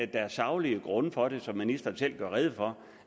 der er saglige grunde for det som ministeren selv gør rede for